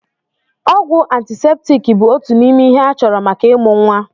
Ọgwụ antiseptiiki bụ òtù n'ime ihe a chọrọ maka ịmụ nwa.